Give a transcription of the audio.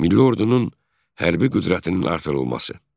Milli ordunun hərbi qüdrətinin artırılması.